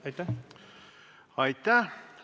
Aitäh!